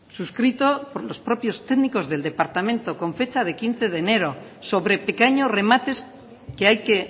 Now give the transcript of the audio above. suscrito por los propios técnicos del departamento con fecha quince de enero sobre pequeños remates que hay que